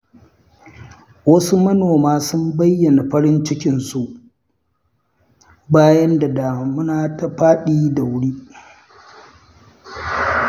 Wasu manoma sun bayyana farin cikinsu, bayan da damuna ta faɗi da wuri.